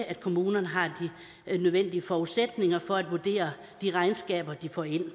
at kommunerne har de nødvendige forudsætninger for at vurdere de regnskaber de får ind